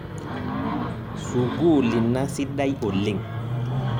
Sukuul ina sidai oleng'